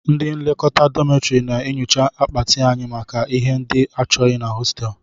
Ndị nlekọta dọmịtọrị na-enyocha akpati anyị maka ihe ndị achọghị na hostel